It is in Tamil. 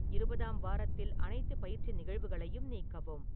இருபதாம் வாரத்தில் அனைத்து பயிற்சி நிகழ்வுகளையும் நீக்கவும்